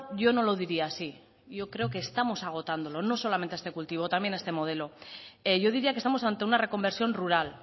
yo no lo diría así yo creo que estamos agotándolo no solamente a este cultivo también a este modelo yo diría que estamos ante una reconversión rural